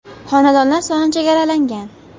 Xonadonlar soni chegaralangan!